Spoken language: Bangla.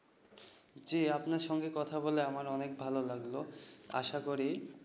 জি আপনার সঙ্গে কথা বলে আমার অনেক ভালো লাগলো। আশা করি